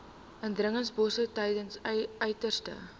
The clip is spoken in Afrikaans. indringerbosse tydens uiterste